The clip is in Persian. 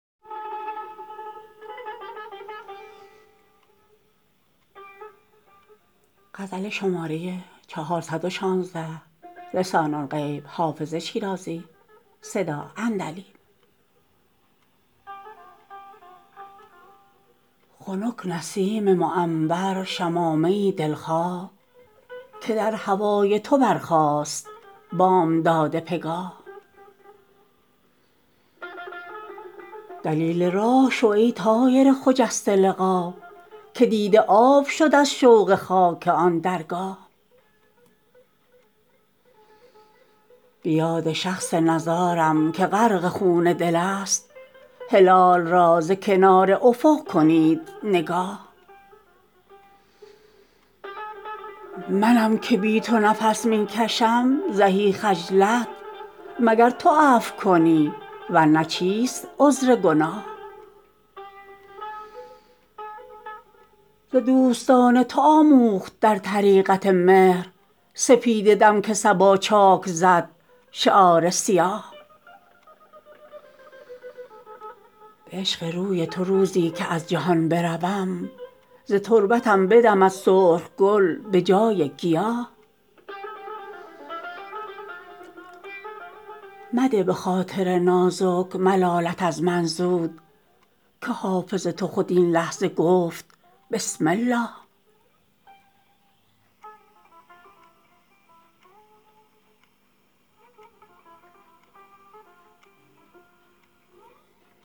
خنک نسیم معنبر شمامه ای دل خواه که در هوای تو برخاست بامداد پگاه دلیل راه شو ای طایر خجسته لقا که دیده آب شد از شوق خاک آن درگاه به یاد شخص نزارم که غرق خون دل است هلال را ز کنار افق کنید نگاه منم که بی تو نفس می کشم زهی خجلت مگر تو عفو کنی ور نه چیست عذر گناه ز دوستان تو آموخت در طریقت مهر سپیده دم که صبا چاک زد شعار سیاه به عشق روی تو روزی که از جهان بروم ز تربتم بدمد سرخ گل به جای گیاه مده به خاطر نازک ملالت از من زود که حافظ تو خود این لحظه گفت بسم الله